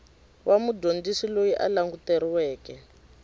wa mudyondzisi loyi a languteriweke